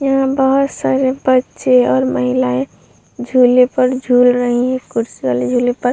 यहाँ बहोत सारे बच्चे और महिलाएं झूले पर झूल रही है कुर्सी वाले झूले पर।